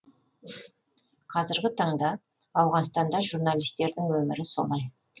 қазіргі таңда ауғанстанда журналистердің өмірі солай